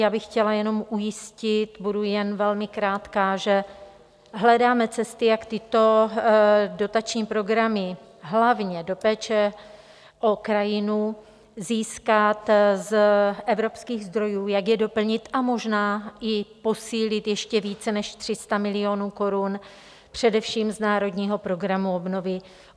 Já bych chtěla jenom ujistit, budu jen velmi krátká, že hledáme cesty, jak tyto dotační programy, hlavně do péče o krajinu, získat z evropských zdrojů, jak je doplnit a možná i posílit ještě více než 300 milionů korun především z Národního programu obnovy.